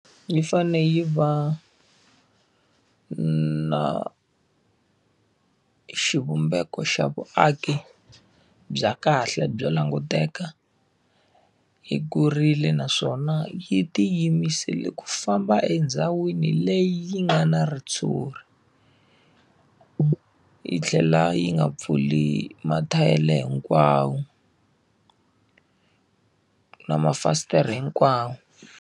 Yi fanele yi va na xivumbeko xa vuaki bya kahle byo languteka, yi kurile naswona yi tiyimisela ku famba endhawini leyi yi nga na ritshuri. Yi tlhela yi nga pfuli mathayere hinkwawo na mafasitere hinkwawo.